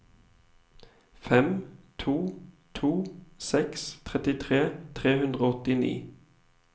fem to to seks trettitre tre hundre og åttini